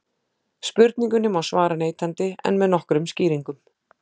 Spurningunni má svara neitandi en með nokkrum skýringum.